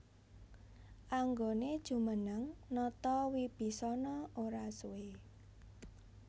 Anggoné jumeneng nata Wibisana ora suwé